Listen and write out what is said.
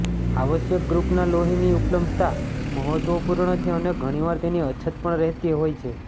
આવશ્યક ગ્રૂપના લોહીની ઉપલબ્ધતા મહત્વપૂર્ણ છે અને ઘણી વાર તેની અછત પણ રહેતી હોય છે